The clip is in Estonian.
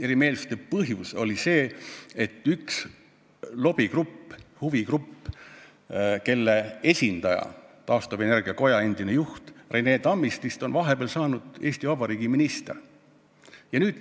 Erimeelsuste põhjus oli see, et ühe lobigrupi, huvigrupi esindaja, taastuvenergia koja endine juht Rene Tammist on vahepeal saanud Eesti Vabariigi ministriks.